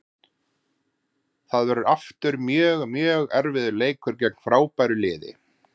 Það verður aftur mjög, mjög erfiður leikur gegn frábæru liði.